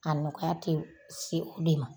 A nɔgɔya tE se o de ma.